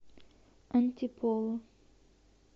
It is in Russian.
антиполо